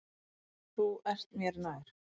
Þú ert mér nær.